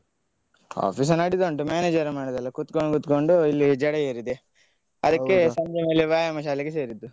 Office ನಡೀತಾ ಉಂಟು, manager ಮಾಡಿದಲ್ಲಾ, ಕುತ್ಕೊಂಡು ಕುತ್ಕೊಂಡು ಇಲ್ಲಿ ಜಡ ಏರಿದೆ ಅದಕ್ಕೆ ಸಂಜೆಯಲ್ಲಿ ವ್ಯಾಯಾಮ ಶಾಲೆಗೆ ಸೇರಿದ್ದು.